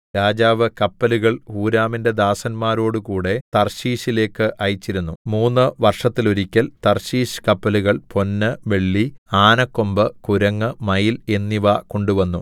രാജാവ് കപ്പലുകൾ ഹൂരാമിന്റെ ദാസന്മാരോടുകൂടെ തർശീശിലേക്ക് അയച്ചിരുന്നു മൂന്നു വർഷത്തിലൊരിക്കൽ തർശീശ് കപ്പലുകൾ പൊന്ന് വെള്ളി ആനക്കൊമ്പ് കുരങ്ങ് മയിൽ എന്നിവ കൊണ്ടുവന്നു